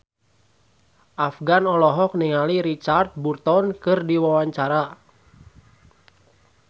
Afgan olohok ningali Richard Burton keur diwawancara